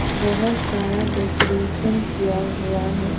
बहुत सारा डेकोरेशन किया हुआ है।